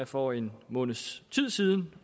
for en måneds tid siden